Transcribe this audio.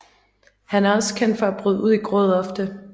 Han er også kendt for at bryde ud i gråd ofte